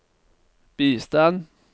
bistand